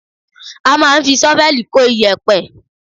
A máa ń fi ṣọ́fẹ́ẹ̀lì kó iyẹ̀pẹ̀